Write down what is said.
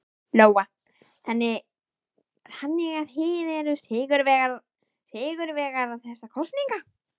Lóa: Þannig að þið eruð sigurvegarar þessara kosninga?